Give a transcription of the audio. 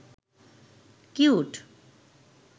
cute